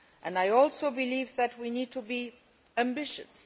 I also believe that we need to be ambitious.